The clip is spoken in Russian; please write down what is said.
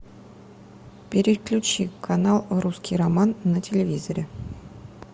переключи канал в русский роман на телевизоре